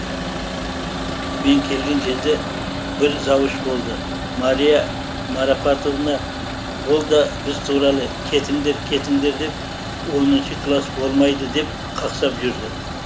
мен келген кезде бір завуч болды мария марапатовна ол да біз туралы кетіңдер кетіңдер деп оныншы класс болмайды деп қақсап жүрді